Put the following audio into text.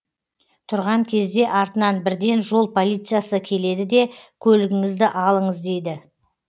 тұрған кезде артынан бірден жол полициясы келеді де көлігіңізді алыңыз дейді